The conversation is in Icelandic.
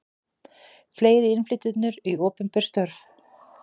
Fleiri innflytjendur í opinber störf